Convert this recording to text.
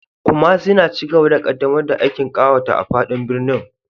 Kumasi na cigaba da ƙaddamar da aikin ƙawata a fadin birnin